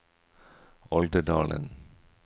Olderdalen